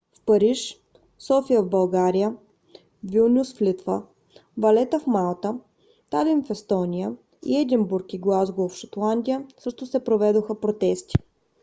в париж софия в българия вилнюс в литва валета в малта талин в естония и единбург и глазгоу в шотландия също се проведоха протести